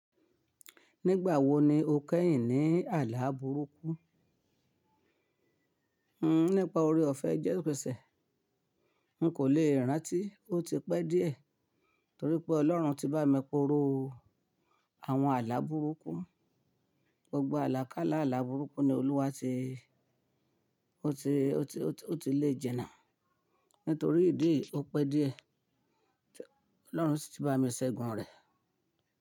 Nígbà wo ni o kẹ́yìn ní ààlà burúkú? Nípa orí ọ̀fẹ́ jẹ́hu pẹsẹ. N kò le rántí ó ti pẹ́ díẹ̀ torí pé Ọlọ́run ti bá mi poro àwọn ààlà burúkú. Gbogbo àlàkálà àlà burúkú ni Olúwa ti, ó ti, ó ti, ó ti le jinà. Nítorí ìdí èyí ó pẹ́ díẹ̀. Ọlọ́run si ti bá mi ṣẹ́gun rẹ̀.